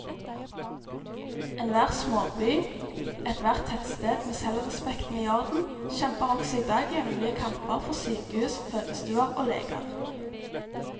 Enhver småby, ethvert tettsted med selvrespekten i orden, kjemper også i dag jevnlige kamper for sykehus, fødestuer og leger.